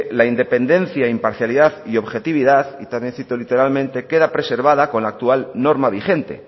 la independencia imparcialidad y objetividad y también cito literalmente queda preservada con la actual norma vigente